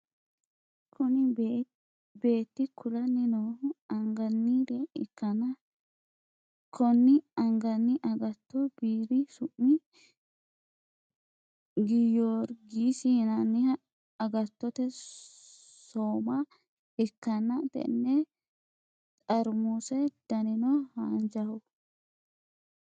Kuni beetti kulanni noohu anganire ikkana konni anganni agatto biiri summi giyorgiisi yinaniha agatote so'ma ikkanna tenne xarmuse danino haanjjaho